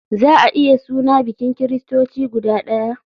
Za a iya suna bikin kiristoci guda ɗaya?